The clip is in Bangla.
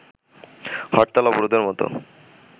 হরতাল, অবরোধের মতো